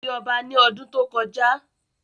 Ó di ọba ní ọdún tó kọjá